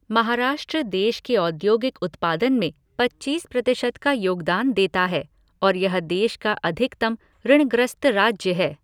महाराष्ट्र देश के औद्योगिक उत्पादन में पच्चीस प्रतिशत का योगदान देता है और यह देश का अधिकतम ऋणग्रस्त राज्य है।